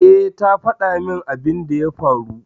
Eh, ta fada min abin da ya faru